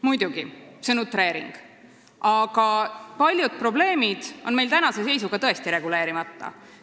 Muidugi, see on utreering, aga paljud probleemid on meil tänase seisuga tõesti reguleerimata.